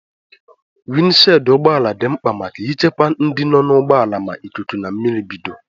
Windi shidi ụgbọala dị mkpa maka ichekwa ndị nọ n'ụgbọala ma ikuku na mmiri bido.